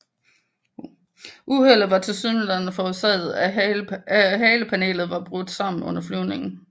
Uheldet var tilsyneladende forårsaget af at haleplanet var brudt sammen under flyvningen